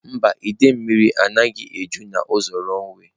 Mba, idei mmiri anaghị eju n'ụzọ runway.